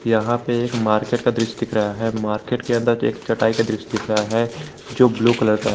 यहां पे एक मार्केट का दृश्य दिख रहा है मार्केट के अंदर एक चटाई का दृश्य दिख रहा है जो ब्लू कलर का है।